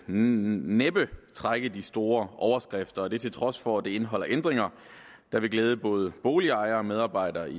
næppe trække de store overskrifter og det til trods for at det indeholder ændringer der vil glæde både boligejere og medarbejdere i